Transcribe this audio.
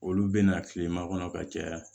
Olu bɛna kilema kɔnɔ ka caya